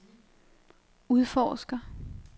udforsker